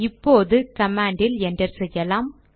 இப்போது command enter செய்யலாம்